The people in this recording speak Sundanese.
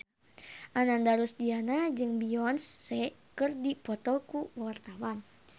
Ananda Rusdiana jeung Beyonce keur dipoto ku wartawan